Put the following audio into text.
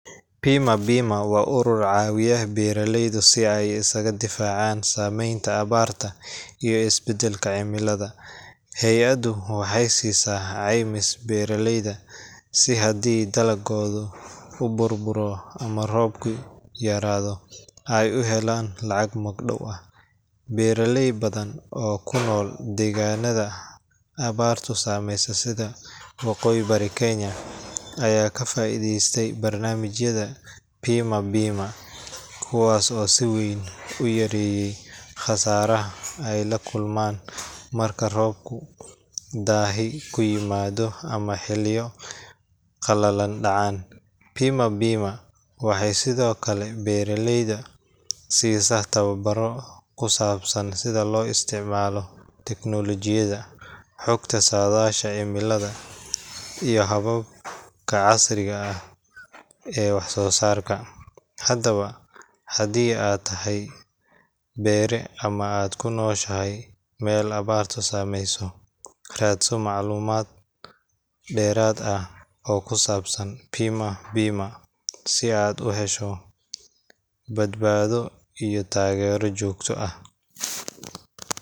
PIMA BIMA waa urur caawiya beeraleyda si ay isaga difaacaan saameynta abaarta iyo isbeddelka cimilada. Hay’addu waxay siisaa caymis beeraleyda si haddii dalaggooda uu burburo ama roobku yaraado, ay u helaan lacag magdhow ah. Beeraley badan oo ku nool deegaannada abaartu saameyso sida waqooyi bari Kenya, ayaa ka faa’iidaystay barnaamijyada PIMA BIMA, kuwaas oo si weyn u yareeyey khasaaraha ay la kulmaan marka roobku daahi ku yimaado ama xilliyo qalalan dhacaan. PIMA BIMA waxay sidoo kale beeraleyda siisaa tababarro ku saabsan sida loo isticmaalo tignoolajiyada, xogta saadaasha cimilada, iyo hababka casriga ah ee wax soo saarka. Haddaba, haddii aad tahay beere ama aad ku nooshahay meel abaartu saamayso, raadso macluumaad dheeraad ah oo ku saabsan PIMA BIMA si aad u hesho badbaado iyo taageero joogto ah